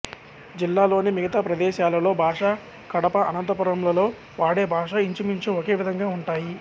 జిల్లాలోని మిగతా ప్రదేశాలలో భాష కడప అనంతపురం లలో వాడే భాష ఇంచుమించు ఒకే విధంగా ఉంటాయి